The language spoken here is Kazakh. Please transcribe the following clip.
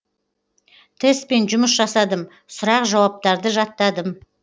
тестпен жұмыс жасадым сұрақ жауаптарды жаттадым